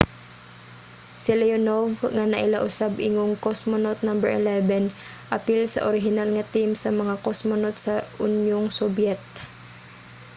si leonov nga naila usab ingong cosmonaut no. 11 apil sa orihinal nga team sa mga cosmonaut sa unyong sobyet